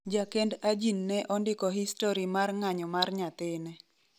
Jakend ajin ne ondiko histori mar ng'anyo mar nyathine